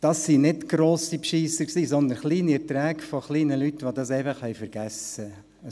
Das waren keine grossen Betrüger, sondern kleine Beträge kleiner Leute, die es einfach vergessen haben.